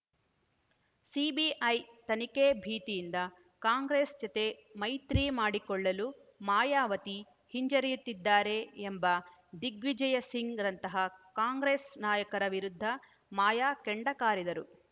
CBI ತನಿಖೆ ಭೀತಿಯಿಂದ ಕಾಂಗ್ರೆಸ್‌ ಜತೆ ಮೈತ್ರಿ ಮಾಡಿಕೊಳ್ಳಲು ಮಾಯಾವತಿ ಹಿಂಜರಿಯುತ್ತಿದ್ದಾರೆ ಎಂಬ ದಿಗ್ವಿಜಯ ಸಿಂಗ್‌ರಂತಹ ಕಾಂಗ್ರೆಸ್‌ ನಾಯಕರ ವಿರುದ್ಧ ಮಾಯಾ ಕೆಂಡಕಾರಿದರು